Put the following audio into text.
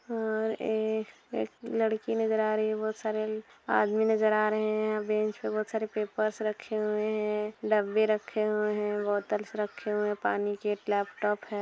और एक एक लड़की नजर आ रही बोहत सारे आदमी नज़र आ रहे हैं और बेंच पे बोहत सारे पेपर्स रखे हुए हैं डब्बे रखे हुए हैं बॉटल्स रखे हुए हैं पानी के एक लैपटॉप है।